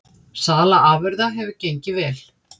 Sala afurða hefur gengið vel